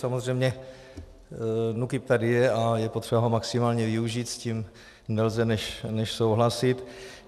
Samozřejmě NÚKIB tady je a je potřeba ho maximálně využít, s tím nelze než souhlasit.